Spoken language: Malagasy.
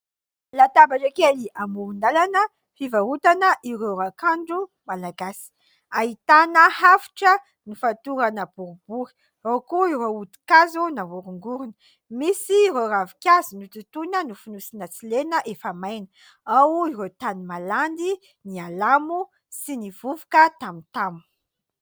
Latabatra kely amoron-dalana fivarotana ireo raokandro malagasy. Ahitana hafitra nofatorana boribory. Ao koa ireo hodi-kazo nahorongorona. Misy ireo ravinkazo nototoina, nofonosina tsy lena, efa maina. Ao ireo tany malandy, ny alamo sy ny vovoka tamotamo.